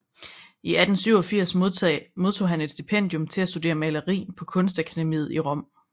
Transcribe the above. I 1887 modtog han et stipendium til at studere maleri på Kunstakademiet i Rom